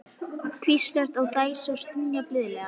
Hvíslast á og dæsa og stynja blíðlega.